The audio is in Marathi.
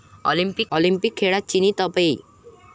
ऑलिम्पिक खेळात चिनी तपेई